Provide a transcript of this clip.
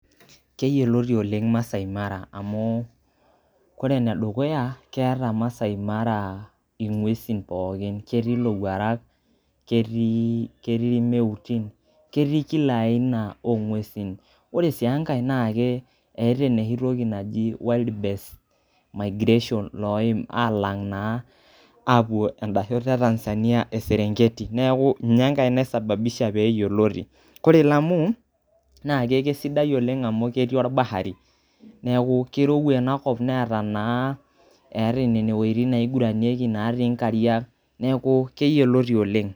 Keyioloti ole'ng' Masai Mara amu kore ene dukuya, keeta Masai Mara ng'uesi pookin, ketii ilowuarak, ketii irmeutin, ketii kila aina o ng'uesi. Ore si enkae naake eta enoshi toki naji wild beast migration loim alang' naa apuo enda shoto e Tanzania e Serenketi, neeku nye enkae naisababisha pee yioloti. Kore Lamu naake kesidai oleng' amu ketii orbahari neeku kirowua inakop netaa naa nena iwuetii naiguranyieki natii inkariak neeku keyioloti oleng'.